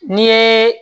N'i ye